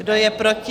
Kdo je proti?